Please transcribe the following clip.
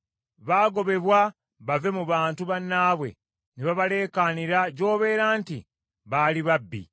Baagobebwa bave mu bantu bannaabwe, ne babaleekaanira gy’obeera nti, baali babbi.